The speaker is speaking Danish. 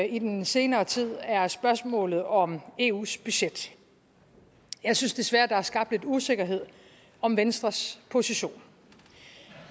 i den senere tid er spørgsmålet om eus budget jeg synes desværre der er skabt lidt usikkerhed om venstres position